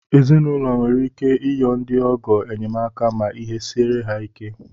Ezinaụlọ nwere ike iyọ ndị ọgọ enyemaka ma ihe siere ha ike